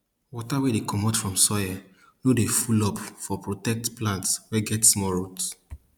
water wey dey commot from soil no dey full up for protect plants wey get small roots